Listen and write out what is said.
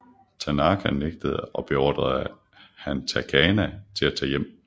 Tanaka nægtede og beordrede Hatanaka til at tage hjem